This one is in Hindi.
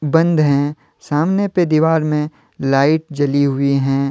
बंद हैं सामने पे दीवार मे लाइट जली हुई हैं।